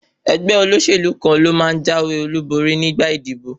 Ẹgbẹ́ olóṣèlú kan ló máa jáwé olúborí nígbà ìdìbò.